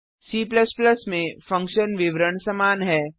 C में function विवरण समान है